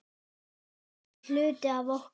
Hann var hluti af okkur.